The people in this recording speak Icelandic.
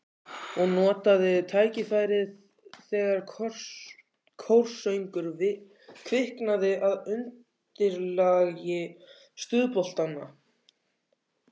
Og notaði tækifærið þegar kórsöngur kviknaði að undirlagi stuðboltanna.